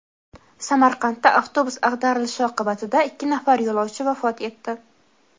Samarqandda avtobus ag‘darilishi oqibatida ikki nafar yo‘lovchi vafot etdi.